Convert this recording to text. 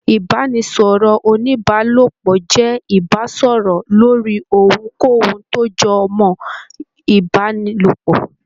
Ibanisọrọ onibaalopọ jẹ ibasọrọ lórí ohunkóhun tó jọ mọ ibanilopọ.